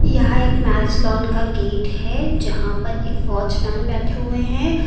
यहां एक marriage lawn का गेट है यहां पर एक वॉचमैन बैठे हुए हैं।